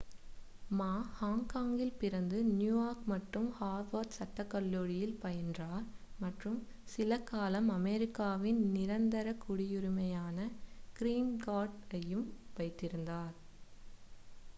"மா ஹாங்காங்கில் பிறந்து நியூயார்க் மற்றும் ஹார்வர்ட் சட்டக் கல்லூரியில் பயின்றார் மற்றும் சிலகாலம் அமெரிக்காவின் நிரந்தரக் குடியுரிமையான "கிரீன் கார்ட்" ஐயும் வைத்திருந்தார்.